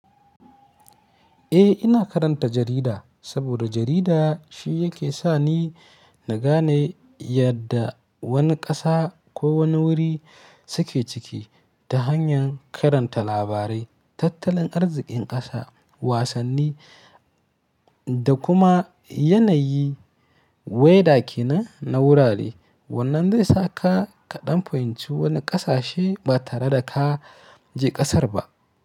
Eh, ina karanta jarida saboda jarida shi yake sa ni na gane yadda wani ƙasa ko wani wuri suke ciki ta hanyar karanta labarai, tattalin arzikin ƙasa, wasanni da kuma yanayi, weather ke nan na wurare. Wannan zai sa ka ɗan fahimci wani ƙasa she ba tare da ka je ƙasar ba.